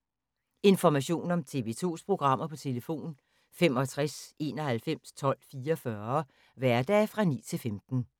Information om TV 2's programmer: 65 91 12 44, hverdage 9-15.